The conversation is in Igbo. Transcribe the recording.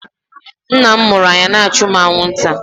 Nna m mụrụ anya na-achụ mụ anwụnta.